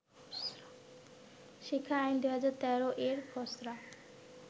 শিক্ষা আইন-২০১৩ এর খসড়া